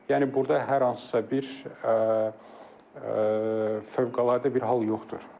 Yəni burda hər hansısa bir fövqəladə bir hal yoxdur.